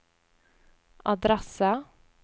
adresse